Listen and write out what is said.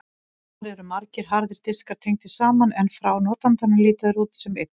Þar eru margir harðir diskar tengdir saman en frá notandanum líta þeir út sem einn.